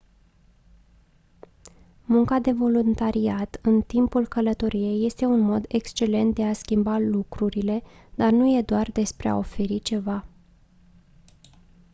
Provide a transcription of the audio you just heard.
munca de voluntariat în timpul călătoriei este un mod excelent de a schimba lucrurile dar nu e doar despre a oferi ceva